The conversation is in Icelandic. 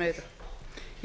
meira